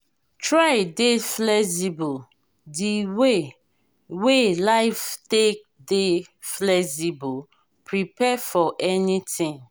try dey flexible di wey wey life take dey flexible prepare for anything